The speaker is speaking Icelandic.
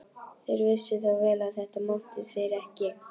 Þeir vissu þó vel að þetta máttu þeir ekki.